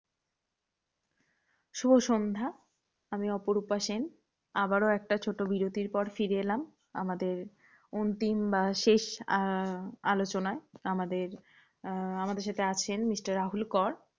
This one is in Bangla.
শুভ সন্ধ্যা, আমি অপরূপা সেন। আবারো একটা ছোট বিরতির পর ফিরে এলাম, আমাদের অন্তিম বার শেষ আহ আলোচনায়। আমাদের আহ আমাদের সাথে আছেন mister রাহুল কর।